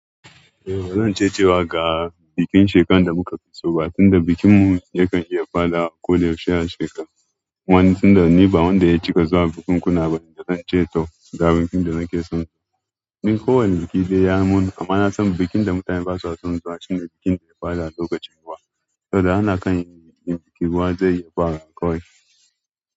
Eh, bazan ce cewa ga bikin shekaran da muka fi so ba, tunda bikin mu yakan iya fara a koda yaushe a shekaru. Kuma ni tunda ni ba wanda ya cika zuwa bukunkuna bane da zan ce to ga a bikin da nake so. Ni ko wane biki dai ya mun, amma na san bikin da mutane basa son zuwa shine bikin da ya fara a lokacin ruwa. Saboda ana kan yi bikin ruwa zai iya fara a koyaushe.